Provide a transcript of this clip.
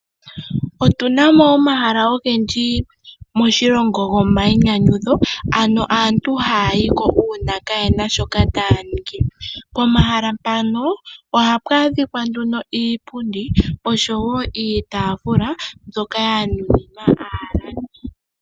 Otuna mo omahala ogendji moshilongo ano gomainyanyudho, ano aantu haya yi ko uuna kaayena shoka taya ningi. Pomahala mpano ohapu adhika nduno iipundi osho woo iitaafula mbyoka ya nuninwa aalandi.